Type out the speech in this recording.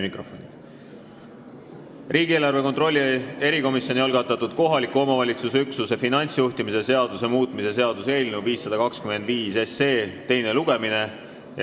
Riigieelarve kontrolli erikomisjoni algatatud kohaliku omavalitsuse üksuse finantsjuhtimise seaduse muutmise seaduse eelnõu 525 teine lugemine.